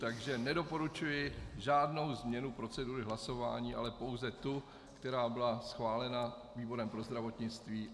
Proto nedoporučuji žádnou změnu procedury hlasování, ale pouze tu, která byla schválena výborem pro zdravotnictví.